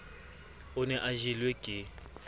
o ne a jelwe ke